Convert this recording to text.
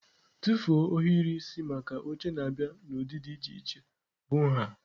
Tụfuo ohiri isi maka oche na-abịa n'ụdị dị iche iche bụ nha.